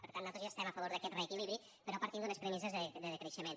per tant nosaltres ja estem a favor d’aquest reequilibri però partint d’unes premisses de decreixement